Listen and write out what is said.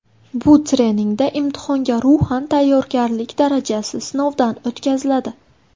Bu treningda imtihonga ruhan tayyorgarlik darajasi sinovdan o‘tkaziladi.